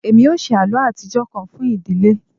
Emi o ṣe àlọ́ atijọ kan fun idile